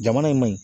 Jamana in maɲi